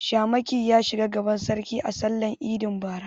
Shamaki ya shiga gaban sarki a sallar idin bara.